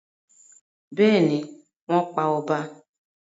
Bẹ́ẹ̀ni, wọ́n pa ọba.